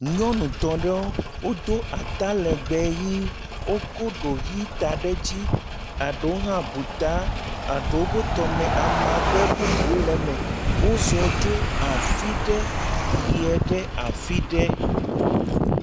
Nyɔnu tɔ̃ ɖewo o do ata legbee ɣie, o ko ɖo ɣie ta ɖe dzi, aɖowo hã bu ta, aɖowo bo tɔme amagbe bubu le me, o zɔ tso afi ɖe, yie ɖe afi ɖe.